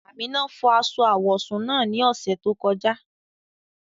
Amina fọ́ aṣọ awọsún naá ni ọṣẹ tó kọ̀ja.